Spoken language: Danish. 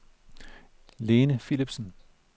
Lene Philipsen